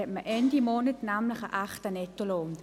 Dann hat man Ende Monat einen echten Nettolohn.